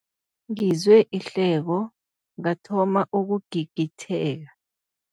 Ngizwe ihleko ngathoma ukugigitheka.